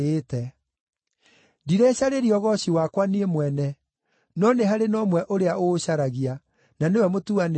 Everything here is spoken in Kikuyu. Ndirecarĩria ũgooci wakwa niĩ mwene, no nĩ harĩ na ũmwe ũrĩa ũũcaragia, na nĩwe mũtuanĩri ciira.